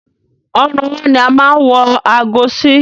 Ọrùn ọwọ́ ni a máa n wọ aago sí